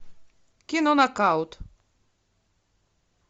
кино нокаут